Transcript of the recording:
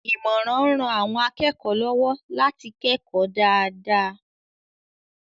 Ìmọ̀ràn ń ran àwọn akẹ́kọ̀ọ́ lọ́wọ́ láti kẹ́kọ̀ọ́ dáadáa.